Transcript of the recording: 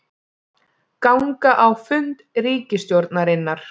Ganga á fund ríkisstjórnarinnar